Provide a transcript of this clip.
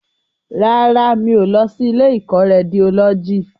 Rárá, mi ò lọ sí ilé ìkọ́ Rédiólọ́jì